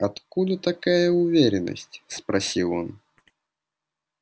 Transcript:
откуда такая уверенность спросил он